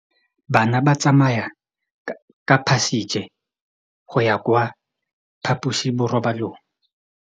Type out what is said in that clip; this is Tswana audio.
Bana ba tsamaya ka phašitshe go ya kwa phaposiborobalong.